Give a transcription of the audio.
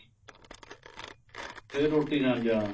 ਫ਼ੇਰ ਰੋਟੀ ਖਾਣ ਜਾਣਾ